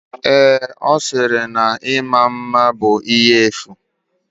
Ee, ọ sịrị na ịma mma bụ ihe efu.